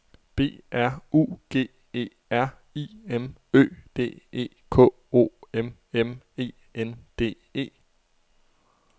B R U G E R I M Ø D E K O M M E N D E